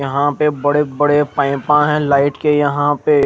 यहा पे बड़े बड़े पाइपा है लाइट के यहा पे--